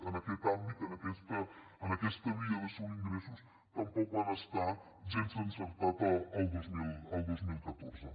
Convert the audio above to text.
en aquest àmbit en aquesta via d’assolir ingressos tampoc van estar gens encertats el dos mil catorze